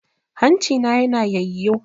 Hancina na yana yayyo.